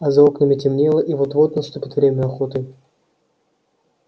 а за окнами темнело и вот-вот наступит время охоты